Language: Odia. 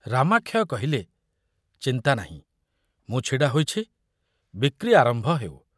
ରାମାକ୍ଷୟ କହିଲେ, ଚିନ୍ତା ନାହିଁ, ମୁଁ ଛିଡ଼ା ହୋଇଛି, ବିକ୍ରି ଆରମ୍ଭ ହେଉ।